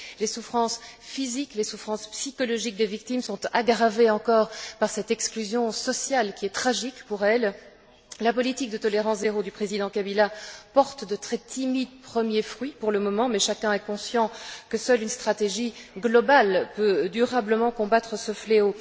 Les souffrances physiques, les souffrances psychologiques des victimes sont aggravées encore par cette exclusion sociale, qui est tragique pour elles. Aujourd'hui, la politique de tolérance zéro du président Kabila porte timidement ses premiers fruits, mais chacun est conscient que seule une stratégie globale peut durablement combattre ce fléau.